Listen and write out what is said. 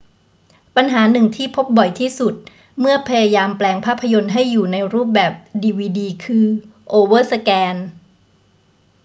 ปัญหาหนึ่งที่พบบ่อยที่สุดเมื่อพยายามแปลงภาพยนตร์ให้อยู่ในรูปแบบดีวีดีคือโอเวอร์สแกน